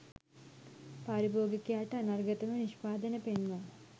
පාරිභෝගිකයාට අනර්ඝතම නිෂ්පාදන පෙන්වා,